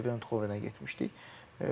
PSV Exovenə getmişdik.